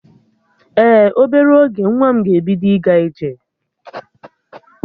Ee, obere oge nwa m ga-ebido ịga ije